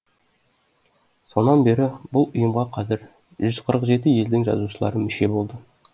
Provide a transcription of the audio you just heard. сонан бері бұл ұйымға қазір жүз қырық жеті елдің жазушылары мүше болды